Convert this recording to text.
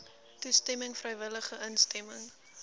toestemming vrywillige instemming